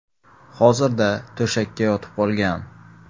Hozirda to‘shakka yotib qolgan.